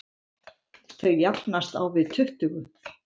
Þau jafnast á við tuttugu.